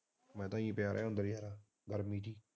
ਮੈਂ ਤਾਂ ਐਈ ਪਿਆ ਰਿਹਾ ਅੰਦਰੇ ਗਰਮੀ ਚ